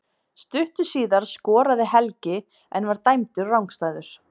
Stuttu síðar skoraði Helgi en var dæmdur rangstæður.